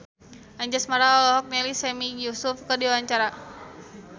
Anjasmara olohok ningali Sami Yusuf keur diwawancara